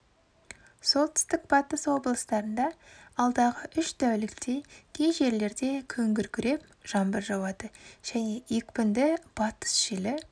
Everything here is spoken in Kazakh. солтүстік-батыс облыстарында алдағы үш тәулікте кей жерлерде күн күркіреп жаңбыр жауады және екпінді батыс желі